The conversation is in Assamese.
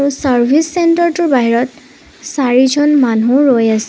চাৰ্ভিচ চেন্টাৰটোৰ বাহিৰত চাৰিজন মানুহ ৰৈ আছে।